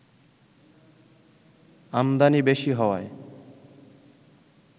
আমদানি বেশি হওয়ায়